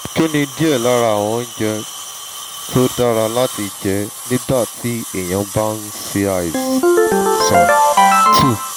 kí ni díẹ̀ lára àwọn oúnjẹ tó dára láti jẹ nígbà tí èèyàn bá ń ń ṣàìsàn? two